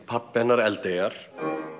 pabbi hennar Eldeyjar